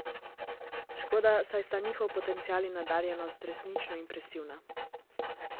Škoda, saj sta njihov potencial in nadarjenost resnično impresivna.